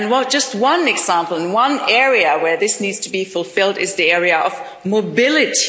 Just one example and one area where this needs to be fulfilled is the area of mobility.